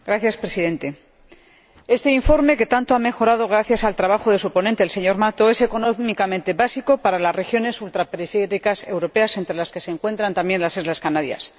Señor Presidente, este informe que tanto ha mejorado gracias al trabajo de su ponente, el señor Mato, es económicamente básico para las regiones ultraperiféricas europeas, entre las que se encuentran también las Islas Canarias.